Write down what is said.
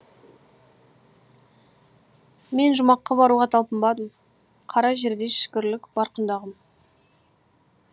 мен жұмаққа баруға талпынбадым қара жердей шүкірлік бар құндағым